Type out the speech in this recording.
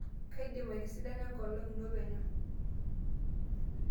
kaidim aitisidana enkolong' ino penyo